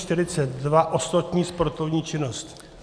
N742 - ostatní sportovní činnost.